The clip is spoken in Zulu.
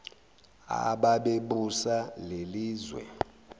ababe busa lelizwe